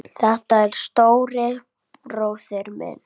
Þetta var stóri bróðir minn.